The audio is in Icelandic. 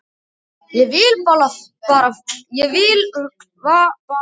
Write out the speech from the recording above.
Ég vil bara vara fólk við.